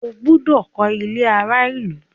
O gbọdọ kọ ilé àrà ìlú!